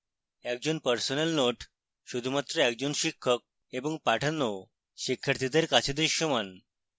একটি personal note শুধুমাত্র একটি শিক্ষক এবং পাঠানো শিক্ষার্থীদের কাছে দৃশ্যমান